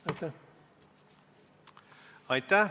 Aitäh!